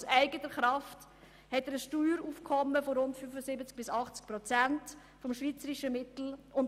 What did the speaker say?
Aus eigener Kraft hat er ein Steueraufkommen von rund 75 bis 80 Prozent des schweizerischen Mittelwerts.